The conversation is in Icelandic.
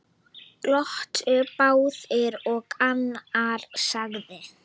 Glottu báðir og annar sagði